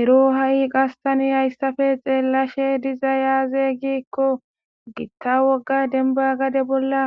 ero ha'i qas tani hayssafe xeellashe dizay aaze giikko gitta wogga denba gade bolla